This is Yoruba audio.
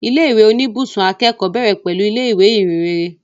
Ilé ìwé oníbùsùn akẹ́kọ̀ọ́ bẹ̀rẹ̀ pẹ̀lú ilé ìwé Ìhìnrere